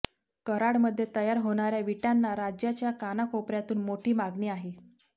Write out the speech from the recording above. कराडमध्ये तयार होणाऱ्या विटांना राज्याच्या कानाकोपऱ्यातून मोठी मागणी आहे